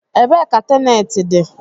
Ebee ka teneti nọ?